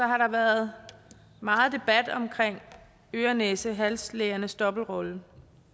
har der været meget debat om øre næse hals lægernes dobbeltrolle